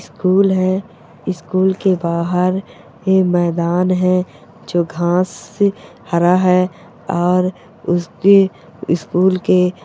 --school है school के बाहर मैदान है जो घास से हरा है और उसके स्कूल के--